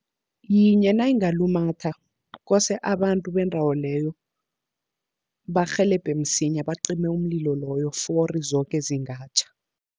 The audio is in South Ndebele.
Yinye nayingalumatha kose abantu bendawo leyo, barhelebhe msinya bacime umlilo loyo fori zoke zingatjha.